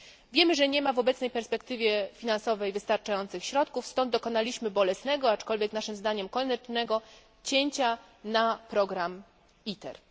Wiemy, że nie ma w obecnej perspektywie finansowej wystarczających środków, stąd dokonaliśmy bolesnego, aczkolwiek naszym zdaniem koniecznego cięcia na program ITER.